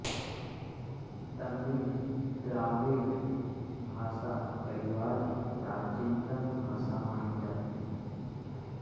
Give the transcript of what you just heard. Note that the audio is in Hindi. तमिऴ द्राविड़ भाषा परिवार की प्राचीनतम भाषा मानी जाती है